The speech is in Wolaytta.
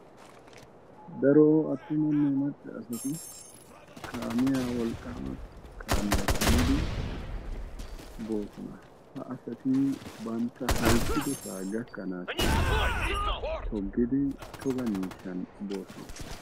Daro attumanne macca asati kaamiyaa wolqqama kaamiyaa kumidi boosona. Ha asati bantta halchchidosaa gakkanassi toggidi togga miishshan boossona.